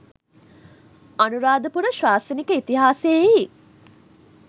අනුරාධපුර ශාසනික ඉතිහාසයෙහි